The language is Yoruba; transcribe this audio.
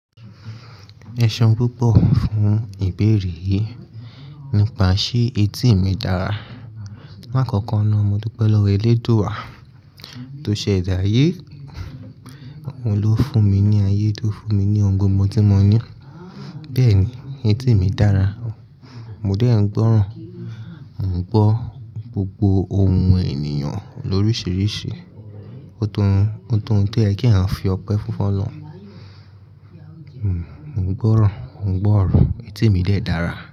Ẹṣeun púpọ fún ìbéèrè yì nípa ṣe etí mi dára. Láàkọ́kọ́ náà mo dúró pẹ́lú élédùwà tó ṣẹ̀dá ayé. Òun ló fún mi ní ayé, tó fún mi ní ohun gbogbo tí mo ní. Bẹ́ẹ̀ni, etí mi dára. Mo dẹ́ ń gbọ́ràn, mo ń gbọ́ gbogbo ohùn ènìyàn lórísìírísìí. Ó tó n to yẹ kí a fi ọpẹ́ fún fọlọ́hun. Mo ń gbọ́ràn, mo ń gbọ́ ọ̀rọ̀. Etí mi dẹ̀ dára.